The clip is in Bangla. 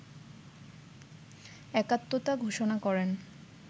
একাত্মতা ঘোষণা করেন